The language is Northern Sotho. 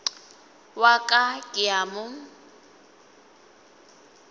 wa ka ke a mo